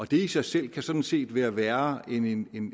det i sig selv kan sådan set være værre end en